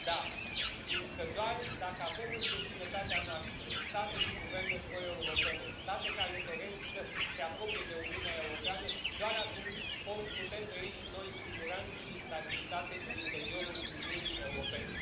Da, fiindcă doar dacă avem în vecinătatea noastră state cu guverne pro europene, state care doresc să se apropie de Uniunea Europeană, doar atunci putem trăi și noi în siguranță și n stabilitate în interiorul Uniunii Europene.